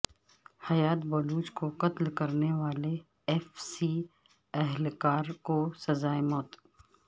حیات بلوچ کو قتل کرنے والے ایف سی اہلکار کو سزائے موت